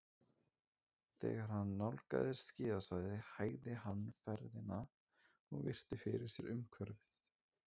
Þegar hann nálgaðist skíðasvæðið hægði hann ferðina og virti fyrir sér umhverfið.